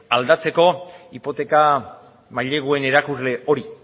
aldatzeko hipoteka maileguen erakusle hori